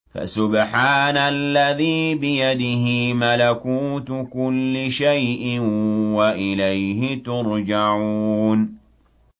فَسُبْحَانَ الَّذِي بِيَدِهِ مَلَكُوتُ كُلِّ شَيْءٍ وَإِلَيْهِ تُرْجَعُونَ